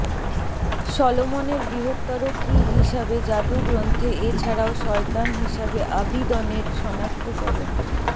Solomon এর বৃহত্তর কী হিসাবে জাদু গ্রন্থে এছাড়াও শয়তান হিসাবে আবিদনের সনাক্তকরণ